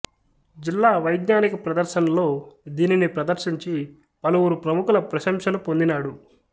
జిల్లా వైఙానిక ప్రదర్శన్లో దీనిని ప్రదర్శించి పలువురు ప్రముఖుల ప్రశంసలు పొందినాడు